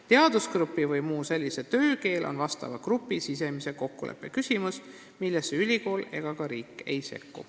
Teadusgrupi või muu sellise töökeel on vastava grupi sisemise kokkuleppe küsimus, millesse ülikool ega riik ei sekku.